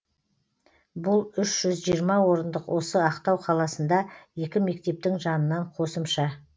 бұл үш жүз жиырма орындық осы ақтау қаласында екі мектептің жанынан қосымша